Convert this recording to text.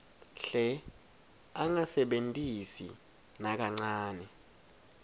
hle angasebentisi nakancane